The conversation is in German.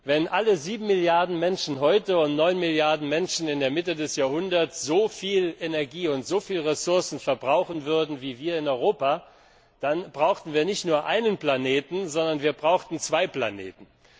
Wenn alle 7 Milliarden Menschen heute und 9 Milliarden Menschen in der Mitte des Jahrhunderts so viel Energie und so viele Ressourcen verbrauchen würden wie wir in Europa, dann brauchten wir nicht nur einen Planeten, sondern wir brauchten zwei Planeten.